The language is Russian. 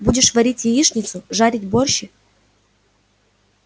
будешь варить яичницу жарить борщи